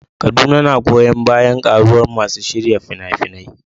Kaduna na goyon bayan ƙaruwar masu shirya fina-finai.